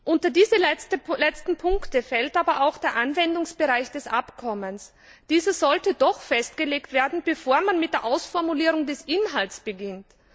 Unter diese letzten Punkte fällt aber auch der Anwendungsbereich des Abkommens. Dieser sollte doch festgelegt werden, bevor man mit der Ausformulierung des Inhalts beginnt.